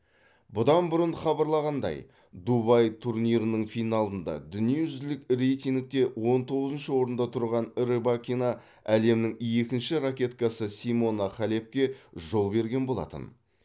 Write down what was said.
бұдан бұрын хабарланғандай дубай турнирінің финалында дүниежүзілік рейтингте он тоғызыншы орында тұрған рыбакина әлемнің екінші ракеткасы симона халепке жол берген болатын